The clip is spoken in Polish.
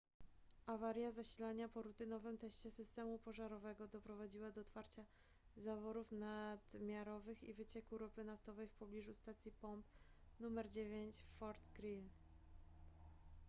awaria zasilania po rutynowym teście systemu pożarowego doprowadziła do otwarcia zaworów nadmiarowych i wycieku ropy naftowej w pobliżu stacji pomp nr 9 w fort greely